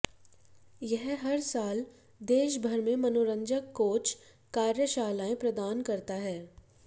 यह हर साल देश भर में मनोरंजक कोच कार्यशालाएं प्रदान करता है